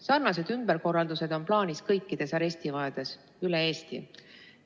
Sarnased ümberkorraldused on plaanis kõikides arestimajades üle Eesti.